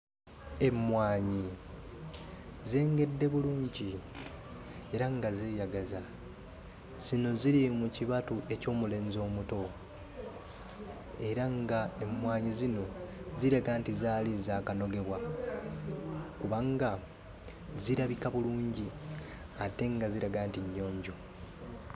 Emmwaanyi zengedde bulungi era nga zeeyagaza, zino ziri mu kibatu eky'omulenzi omuto, era nga emmwaanyi zino ziraga nti zaali zaakanogebwa kubanga zirabika bulungi ate nga ziraga nti nnyonjo.